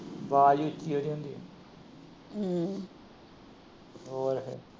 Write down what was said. ਵਾਜ ਈ ਉੱਚੀ ਏ ਉਹਂਦੀ। ਹੋਰ।